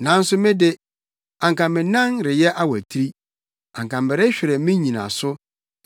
Nanso me de, anka me nan reyɛ awatiri; anka merehwere me nnyinaso,